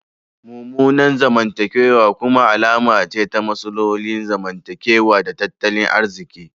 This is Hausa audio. Mummunan zamantakewa kuma alama ce ta matsalolin zamantakewa da tattalin arziki.